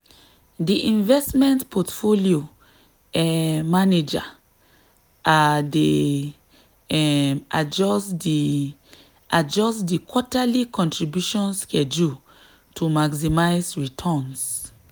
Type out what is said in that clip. di investment portfolio um manager um dey um adjust di adjust di quarterly contribution schedule to maximize returns.